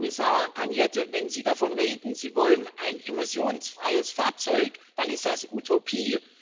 Herr Kommissar Arias Cañete, wenn Sie davon reden, Sie wollen ein emissionsfreies Fahrzeug, dann ist das Utopie.